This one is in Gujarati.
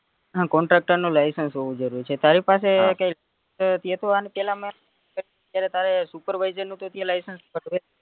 આમ contactor નું license હોવું જરૂરી છે તારી પાસે એકય તેતો આની પેલા અત્યારે તારે supervisor નું તો license